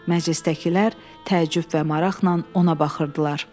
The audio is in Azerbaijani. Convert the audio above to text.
Məclisdəkilər təəccüb və maraqla ona baxırdılar.